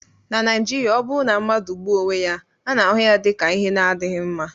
na Naijiria, ọ bụrụ na mmadụ gbuo onwe ya, a na-ahụ ya dị ka ihe na-adịghị mma